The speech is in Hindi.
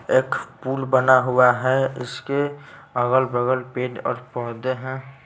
एक पुल बना हुआ हैं इसके अगल-बगल पेड़ और पौधे हैं।